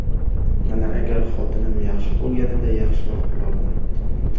Mana agar xotinim yaxshi bo‘lganida yaxshiroq bo‘lardim.